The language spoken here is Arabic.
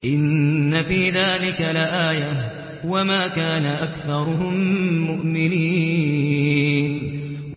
إِنَّ فِي ذَٰلِكَ لَآيَةً ۖ وَمَا كَانَ أَكْثَرُهُم مُّؤْمِنِينَ